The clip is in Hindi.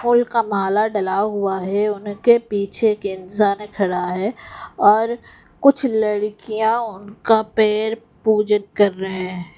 फूल का माला डला हुआ है उनके पीछे एक इंसान खड़ा है और कुछ लड़कियां उनका पैर पूजन कर रहे हैं।